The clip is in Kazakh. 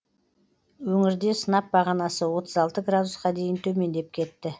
өңірде сынап бағанасы отыз алты градусқа дейін төмендеп кетті